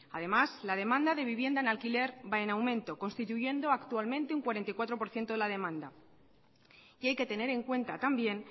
además la demanda de vivienda en alquiler va en aumento constituyendo actualmente un cuarenta y cuatro por ciento de la demanda y hay que tener en cuenta también